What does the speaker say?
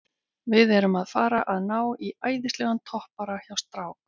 Við erum að fara að ná í æðislegan toppara hjá strák